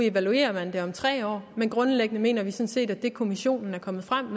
evalueret om tre år men grundlæggende mener vi sådan set at det kommissionen er kommet frem